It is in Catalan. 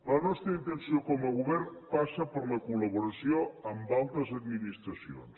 la nostra intenció com a govern passa per la collaboració amb altres administracions